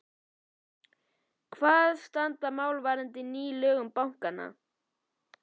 Hvar standa mál varðandi ný lög um bankann?